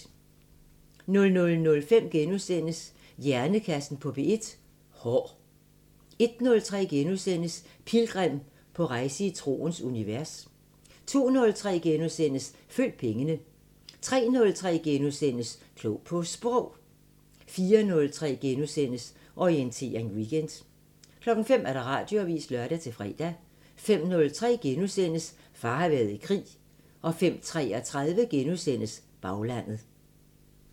00:05: Hjernekassen på P1: Hår * 01:03: Pilgrim – på rejse i troens univers * 02:03: Følg pengene * 03:03: Klog på Sprog * 04:03: Orientering Weekend * 05:00: Radioavisen (lør-fre) 05:03: Far har været i krig * 05:33: Baglandet *